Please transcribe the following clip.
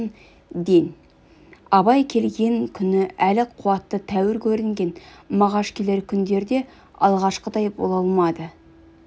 абай келген күні әл-қуаты тәуір көрінген мағаш келер күндерде алғашқыдай бола алмады